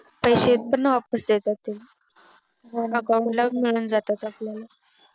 पैसे पण वापस देतात ते Account ला मिळून जातात आपल्याला